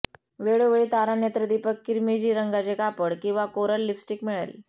वेळोवेळी तारा नेत्रदीपक किरमिजी रंगाचे कापड किंवा कोरल लिप्स्टिक मिळेल